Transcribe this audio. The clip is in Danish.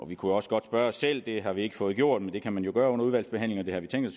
vi kunne også godt spørge os selv det har vi ikke fået gjort men det kan man jo gøre under udvalgsbehandlingen